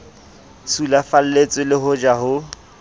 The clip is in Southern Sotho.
sulafalletswe le ho ja ho